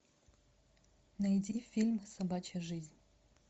найди фильм собачья жизнь